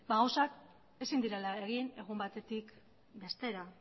gauzak ezin direla egin egun batetik bestera